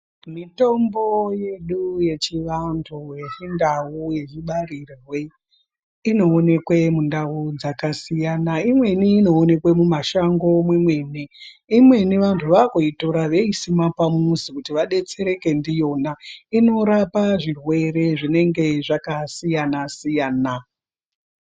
Mitombo yedu yechivantu ,yechindau yechibarirwe, inowonekwe mundau dzakasiyana. Imweni inowonekwe mumashango imweni vantu vaakuyitora voyisima pamuzi kuti vadetsereke ndiyona inorapa zvirwere zvinenge zvakasiyana siyana .